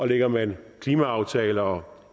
lægger man klimaaftale og